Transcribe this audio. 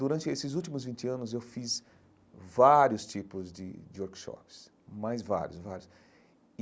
Durante esses últimos vinte anos eu fiz vários tipos de de workshops, mas vários, vários e.